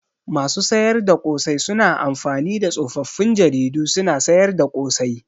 Masu sayar da ƙosai suna amfani da tsofaffin jaridu suna sayar da ƙosai.